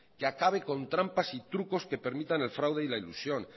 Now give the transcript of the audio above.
que acabe con trampas y trucos que permitan el fraude y la ilusión